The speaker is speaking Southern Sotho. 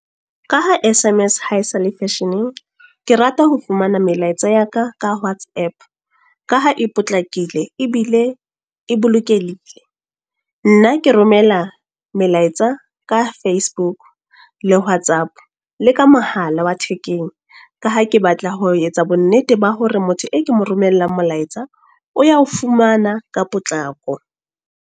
Ka ha S_M_S ha esale fashion-eng. Ke rata ho fumana melaetsa ya ka, ka WhatsApp. Ka ha e potlakile, ebile e bolokehile. Nna ke romela melaetsa ka Facebook le WhatsApp, le ka mohala wa thekeng. Ka ha ke batla ho etsa bonnete ba hore motho e ke mo romella molaetsa, o ya ho fumana ka potlako.